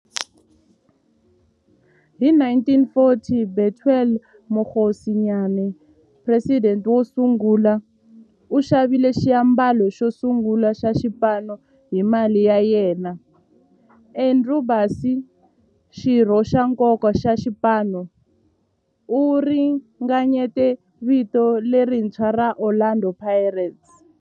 Hi 1940, Bethuel Mokgosinyane, president wosungula, u xavile xiambalo xosungula xa xipano hi mali ya yena. Andrew Bassie, xirho xa nkoka xa xipano, u ringanyete vito lerintshwa ra 'Orlando Pirates'.